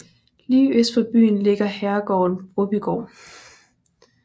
Lige øst for byen ligger herregården Brobygård